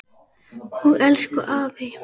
Og elsku afi.